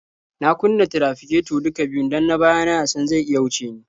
Na kunna tirafiketo duka biyun don na baya na ya san zai iya wuce ni.